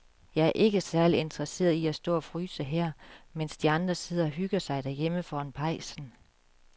Jeg er ikke særlig interesseret i at stå og fryse her, mens de andre sidder og hygger sig derhjemme foran pejsen.